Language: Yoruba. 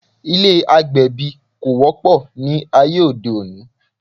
Ilé́ agbẹ̀bí kò wọ́pọ̀ ní ayé òde òní